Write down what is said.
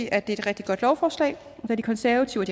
er et rigtig godt lovforslag da de konservative